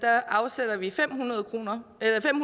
afsætter vi fem hundrede million kroner